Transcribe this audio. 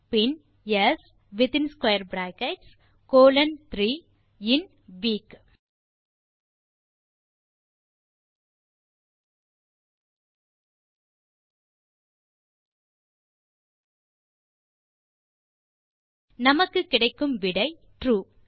பின் ஸ் கோலோன் 3 இன் வீக் நமக்கு கிடைக்கும் விடை ட்ரூ